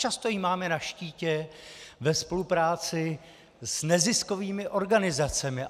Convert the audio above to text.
Často ji máme na štítě ve spolupráci s neziskovými organizacemi.